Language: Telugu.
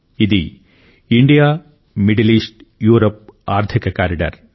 ఇది ఇండియామిడిల్ ఈస్ట్యూరప్ ఆర్థిక కారిడార్